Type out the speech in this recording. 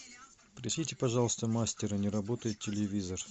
пришлите пожалуйста мастера не работает телевизор